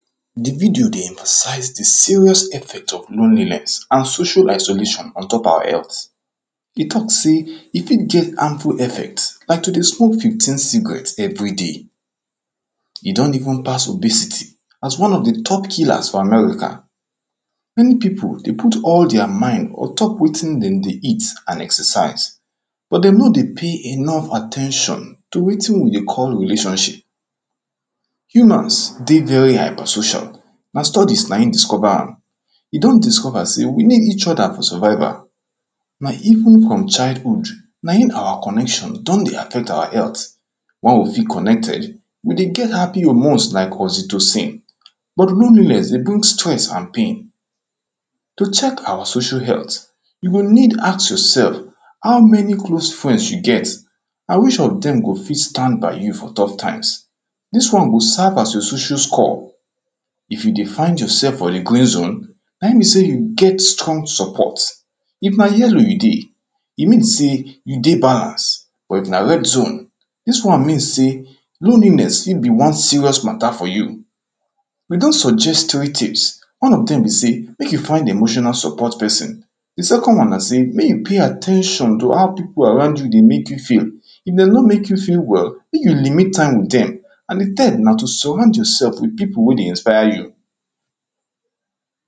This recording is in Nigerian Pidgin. di video emphasize di serious effect of loneliness and social isolation ontop our health i talk sey i dey get harmful effect like to dey smoke fifteen cigarette every day i don even pass obesity as one of di top killers in America when pipo dey put all dere mind ontop wetin dey dey eat and exercise but dey nor dey pay enough at ten tion to wetin we dey call relationship humans dey very hyper-social na studies na discover am you don discover sey we need each other for survival na even from childhood na im our connection don dey affect our health when we feel connected we dey get happy hormones like oxytocin but loneliness dey bring stress and pain to check our social health you go need ask yourself how many close friends you get and which of dem go fit stand by you for tough times dis won go serve as your social score if you dey find yourself for di green zone na im be sey you get strong support if na yellow you dey i mean sey you dey balance but if na red zone dis wan mean sey loneliness im be wan serious matter for you we don suggest three tips wan of dem be sey make you find emotional support person the second wan na sey make you pay at ten tion to how pipo around you dey make you feel if dey nor make you feel well make you limit time with dem and di third na to surround yourself with pipo wey dey inspire you